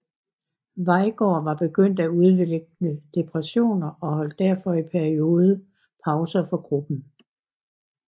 Veigaard var begyndt at udvikle depressioner og holdt derfor i perioder pause fra gruppen